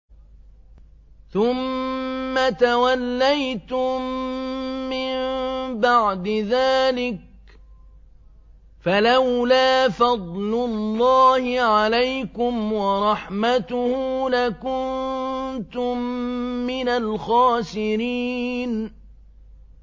ثُمَّ تَوَلَّيْتُم مِّن بَعْدِ ذَٰلِكَ ۖ فَلَوْلَا فَضْلُ اللَّهِ عَلَيْكُمْ وَرَحْمَتُهُ لَكُنتُم مِّنَ الْخَاسِرِينَ